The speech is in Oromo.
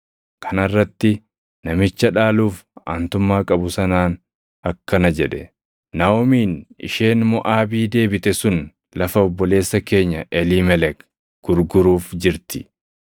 Kana irratti namicha dhaaluuf aantummaa qabu sanaan akkana jedhe; “Naaʼomiin isheen Moʼaabii deebite sun lafa obboleessa keenya Eliimelek gurguruuf jirti.